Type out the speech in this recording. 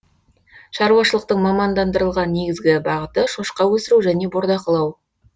шаруашылықтың мамандандырылған негізгі бағыты шошқа өсіру және бордақылау